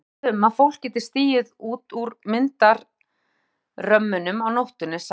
Ég hef lesið um að fólk geti stigið út úr myndarömmunum á nóttunni sagði